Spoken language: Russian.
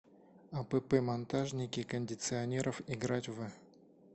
апп монтажники кондиционеров играть в